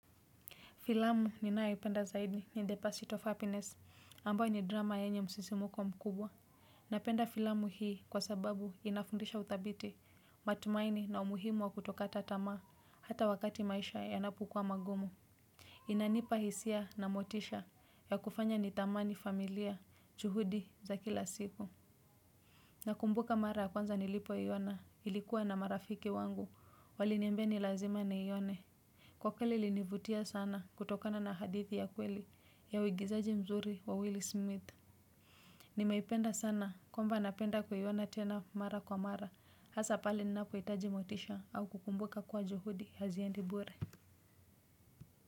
Filamu ninayo ipenda zaidi ni The Passage of Happiness, ambayo ni drama yenye msisimuko mkubwa. Napenda filamu hii kwa sababu inafundisha uthabiti matumaini na umuhimu wa kutokata tamaa hata wakati maisha yanapukua magumu. Inanipa hisia na motisha ya kufanya nidhamani familia juhudi za kila siku. Na kumbuka mara ya kwanza nilipo iona nilikuwa na marafiki wangu wali niambia ni lazima nione. Kwa kweli ili nivutia sana kutokana na hadithi ya kweli ya uigizaji mzuri wa Willie Smith. Nimaipenda sana kwamba napenda kuiona tena mara kwa mara, hasa palime ninapo hitaji motisha au kukumbuka kuwa juhudi haziendibure.